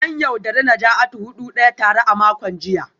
An yaudari Najatu da hudu daya tara a makon jiya